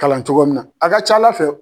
Kalan cogo min a ka c'ala fɛ.